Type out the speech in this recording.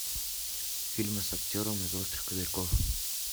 фильмы с актером из острых козырьков